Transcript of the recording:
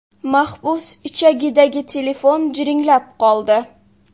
Maxbus ichagidagi telefon jiringlab qoldi.